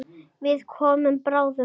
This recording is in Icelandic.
Við komum bráðum.